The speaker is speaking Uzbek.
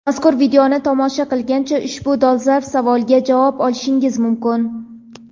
Mazkur videoni tomosha qilgancha ushbu dolzarb savolga javob olishingiz mumkin.